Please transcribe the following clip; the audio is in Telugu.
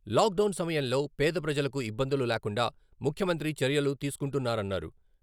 లాక్ డౌన్ సమయంలో పేద ప్రజలకు ఇబ్బందులు లేకుండా ముఖ్యమంత్రి చర్యలు తీసుకుంటున్నారన్నారు.